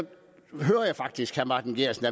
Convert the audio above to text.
hører jeg faktisk herre martin geertsen